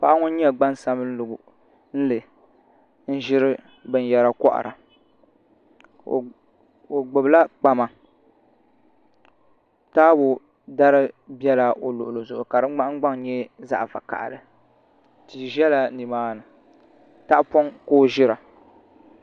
Paɣa ŋun nyɛ gbansabinli n ʒiri binyɛra kohara o gbubila kpama taabo dari biɛla o luɣuli zuɣu ka di ŋmahangbaŋ nyɛ zaɣ vakaɣali tia biɛla nimaani tahapoŋ ka o ʒira